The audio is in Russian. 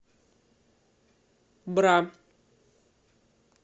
бра